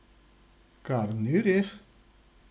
Kar ni res!